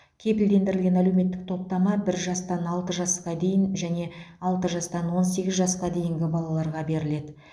кепілдендірілген әлеуметтік топтама бір жастан алты жасқа дейін және алты жастан он сегіз жасқа дейінгі балаларға беріледі